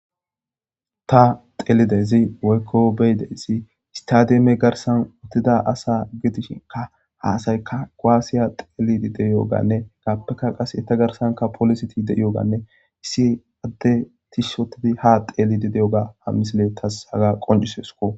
Ta xeellidayssi woykko be'idayssi istademe garssan uttida asa gidishinkka ha asaykka kuwasiya xeellidi diyoganne etappekka eta garssan pooliseti de'iyoga issi addey tishshi ootti haa xeellidi diyoga ha misile taas haga qoncciseskko.